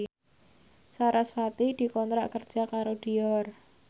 sarasvati dikontrak kerja karo Dior